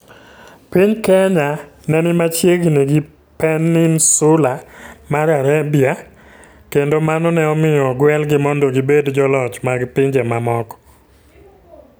Piny Kenya ne ni machiegni gi Peninsula mar Arabia, kendo mano ne omiyo ogwelgi mondo gibed joloch mag pinje mamoko.